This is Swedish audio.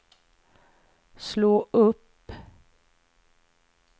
slå upp